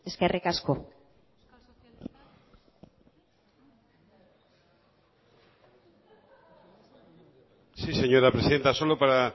eskerrik asko sí señora presidenta solo para